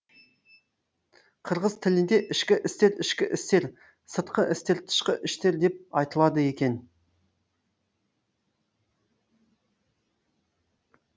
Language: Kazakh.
қырғыз тілінде ішкі істер ішкі іштер сыртқы істер тышқы іштер деп айтылады екен